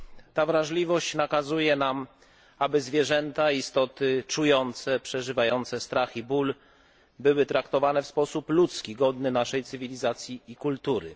Ta wrażliwość nakazuje nam, aby zwierzęta istoty czujące, przeżywające strach i ból były traktowane w sposób ludzki, godny naszej cywilizacji i kultury.